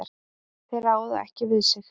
Þeir ráða ekki við sig.